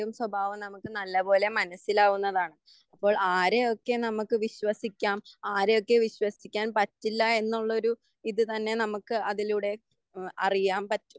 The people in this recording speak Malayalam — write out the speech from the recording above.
സ്വാഭാവം നമുക്ക് നല്ല പോലെ മനസ്സിലാവുന്നതാണ്. അപ്പോൾ ആരെയൊക്കെ നമുക്ക് വിശ്വസിക്കാം ആരെയൊക്കെ വിശ്വസിക്കാൻ പറ്റില്ല എന്നുള്ള ഒരു ഇത് തന്നെ നമുക്ക് അതിലൂടെ അറിയാൻ പറ്റും.